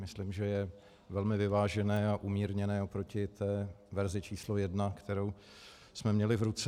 Myslím, že je velmi vyvážené a umírněné proti té verzi číslo jedna, kterou jsme měli v ruce.